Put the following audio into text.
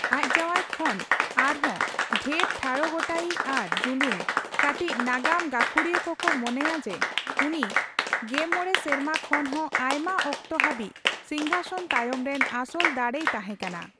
ᱟᱡ ᱡᱟᱣᱟᱭ ᱠᱷᱚᱱ ᱟᱨᱦᱚᱸ ᱰᱷᱮᱨ ᱴᱷᱟᱲᱚ ᱜᱚᱴᱟᱭᱤᱡ ᱟᱨ ᱡᱩᱞᱩᱝ, ᱠᱟᱴᱤᱪ ᱱᱟᱜᱟᱢ ᱜᱟᱹᱠᱷᱩᱲᱤᱭᱟᱹ ᱠᱚᱠᱚ ᱢᱚᱱᱮᱭᱟ ᱡᱮ ᱩᱱᱤ ᱜᱮᱢᱚᱬ ᱥᱮᱨᱢᱟ ᱠᱷᱚᱱ ᱦᱚᱸ ᱟᱭᱢᱟ ᱚᱠᱛᱚ ᱦᱟᱹᱵᱤᱡ ᱥᱤᱝᱦᱟᱥᱚᱱ ᱛᱟᱭᱚᱢ ᱨᱮᱱ ᱟᱥᱚᱞ ᱫᱟᱲᱮᱭ ᱛᱟᱦᱮᱸᱠᱟᱱᱟ ᱾